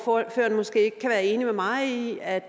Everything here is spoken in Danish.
ordføreren måske ikke kan være enig med mig i at